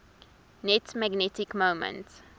net magnetic moment